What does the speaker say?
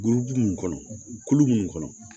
Burubu mun kɔnɔ kulu minnu kɔnɔ